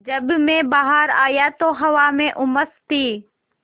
जब मैं बाहर आया तो हवा में उमस थी